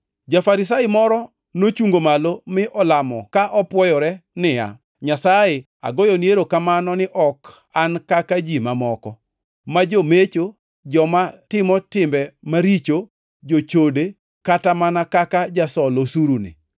Ja-Farisai moro nochungo malo mi olamo ka opwoyore ni, ‘Nyasaye, agoyoni erokamano ni ok an kaka ji mamoko, ma jomecho, joma timo timbe maricho, jochode, kata mana kaka jasol osuruni.